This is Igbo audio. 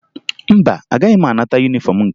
Mba, agaghị m anata yunifọmụ nke m